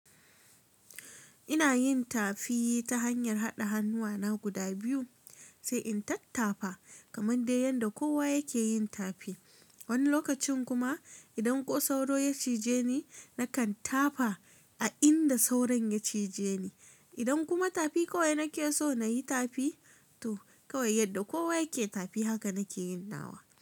Ina yin tafi ta hanyar haɗa hannuwana guda biyu sai in tattafa kamar dai yanda kowa yake yin tafi. Wani lokacin kuma idan ko sauro ya cije ni, na kan tafa a inda sauron ya cije ni. Idan kuma tafi kawai nake so na yi tafi to kawai yadda kowa yake tafi haka nake yin nawa.